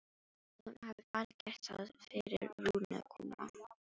Að hún hafi bara gert það fyrir Rúnu að koma.